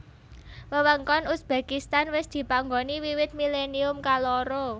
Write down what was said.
Wewengkon Uzbekistan wis dipanggoni wiwit milennium kaloro